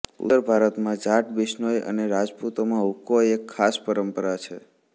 ઉત્તર ભારતમાં જાટ બિશ્નોઇ અને રાજપુતોમાં હૂકો એક ખાસ પરંપરા છે